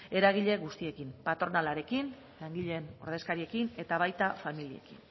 eragile guztiekin patronalarekin langileen ordezkariekin eta baita familiekin